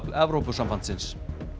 Evrópusambandsins